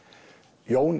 Jón